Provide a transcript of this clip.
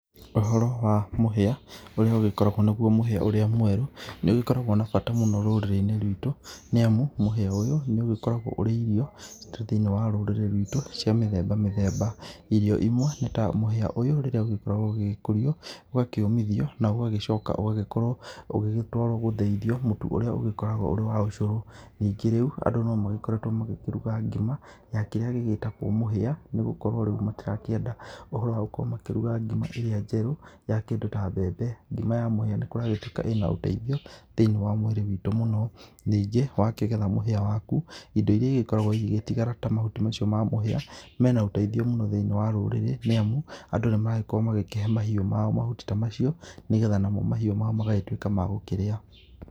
Ũhoro wa mũhĩa ũrĩa ũgĩkoragwo nĩgũo mũhĩa ũrĩa mweru nĩ ũgĩkoragwo na mbata mũno rũrĩrĩ-inĩ rwitũ, nĩamũ mũhĩa ũyũ nĩ ũgĩkoragwo ũrĩ irio ta thĩiniĩ wa rũrĩrĩ rwitũ cia mĩthemba mĩthemba, irio imwe nĩ ta mũhĩa ũyũ rĩrĩa ũgĩkoragwo ũgĩkũrio ũgakĩũmithio na ũgagĩcoka ũgagĩkorwo ũgĩgĩtwarwo gũthĩithio mũtu ũrĩa ũgĩkoragwo ũrĩ wa ũcũrũ, ningĩ rĩu andũ no magĩkoretwo magĩkĩruga ngima ya kĩrĩa gĩgĩtagwo mũhĩa nĩ gũkorwo rĩu matirakĩenda ũhoro wa gũkorwo makĩruga ngima ĩrĩa njerũ ya kĩndũ ta mbembe, ngima ya mũhĩa nĩ kũragĩtuĩka ĩna ũteithio thĩiniĩ wa mũĩrĩ witũ mũno, ningĩ wakĩgetha mũhĩa waku indo irĩa igĩkoragwo igĩgĩtigara ta mahuti macio ma mũhĩa mena ũteithio mũno thĩiniĩ wa rũrĩrĩ, nĩamu andũ nĩ maragĩkorwo magĩkĩhe mahiũ mao mahuti ta macio, nĩgetha namo mahiũ mao magagĩtuĩka magũkĩrĩa.